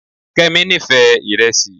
Kemi nífẹ̀ẹ́ iresi